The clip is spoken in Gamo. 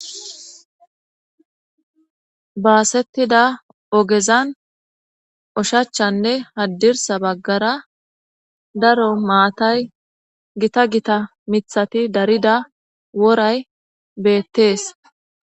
baasettida ogezan oshachanne haddirsa baggara daro maatay gita gita mithati darida woray beettees.